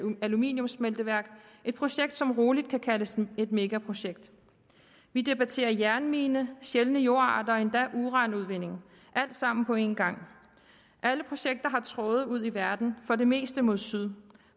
aluminiumssmelteværk et projekt som roligt kan kaldes et megaprojekt vi debatterer jernmine sjældne jordarter og endda uranudvinding alt sammen på en gang alle projekterne har tråde ud i verden for det meste mod syd